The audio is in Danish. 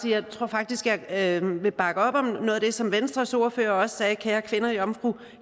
faktisk at jeg vil bakke op om noget af det som venstres ordfører også sagde kære kvinde og jomfru